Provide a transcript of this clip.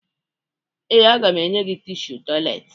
Ee, aga m enye gị tishu tọyịleetị